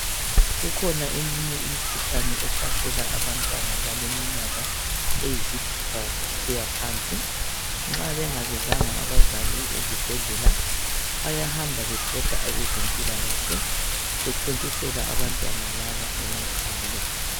kukhona eminye imikhuhlane ehlasela abantwana abaleminyaka eyisithupha kusiya phansi nxa bengabizanga abazali ezibhedlela bayahamba bebhoda abezempilakahle ebethontisela abantwana laba